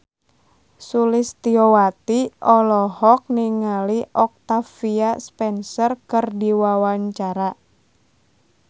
Sulistyowati olohok ningali Octavia Spencer keur diwawancara